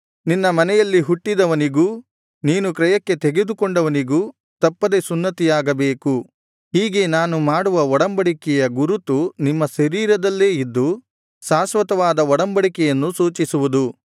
ನಿನ್ನ ಮನೆಯಲ್ಲಿ ಹುಟ್ಟಿದವನಿಗೂ ನೀನು ಕ್ರಯಕ್ಕೆ ತೆಗೆದುಕೊಂಡವನಿಗೂ ತಪ್ಪದೆ ಸುನ್ನತಿಯಾಗಬೇಕು ಹೀಗೆ ನಾನು ಮಾಡುವ ಒಡಂಬಡಿಕೆಯ ಗುರುತು ನಿಮ್ಮ ಶರೀರದಲ್ಲೇ ಇದ್ದು ಶಾಶ್ವತವಾದ ಒಡಂಬಡಿಕೆಯನ್ನು ಸೂಚಿಸುವುದು